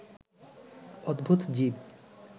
অদ্ভুত জীব